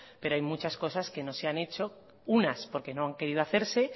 pero hay muchas cosas que no se han hecho unas porque no han querido hacerse